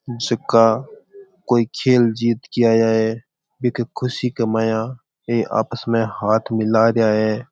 जका कोई खेल जीत के आया है बीके खुशी के माया आपस मे हाथ मिला रहा है।